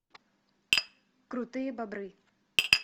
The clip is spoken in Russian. крутые бобры